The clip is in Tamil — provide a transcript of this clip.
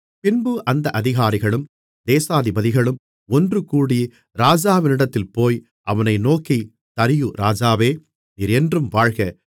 பின்பு அந்தப் அதிகாரிகளும் தேசாதிபதிகளும் ஒன்றுகூடி ராஜாவினிடத்தில் போய் அவனை நோக்கி தரியு ராஜாவே நீர் என்றும் வாழ்க